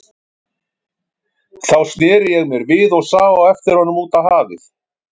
Þá sneri ég mér við og sá á eftir honum út á hafið.